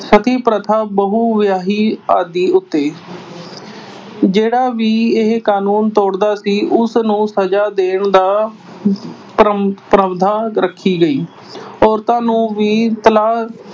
ਸਤਿ ਪ੍ਰਥਾ ਬਹੁ-ਵਿਆਹੀ ਆਦਿ ਉੱਤੇ। ਜਿਹੜਾ ਵੀ ਇਹ ਕਾਨੂੰਨ ਤੋੜਦਾ ਸੀ ਉਸਨੂੰ ਸਜ਼ਾ ਦੇਣ ਦਾ ਪ੍ਰਾਵਧਾਨ ਰੱਖਿਆ ਗਿਆ। ਔਰਤਾਂ ਨੂੰ ਵੀ ਤਲਾਕ